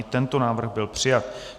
I tento návrh byl přijat.